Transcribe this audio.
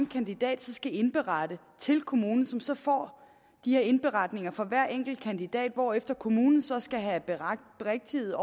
kandidat skal indberette til kommunen som så får de her indberetninger for hver enkelt kandidat hvorefter kommunen så skal have berigtiget